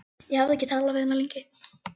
Ég hafði ekki talað við hann lengi.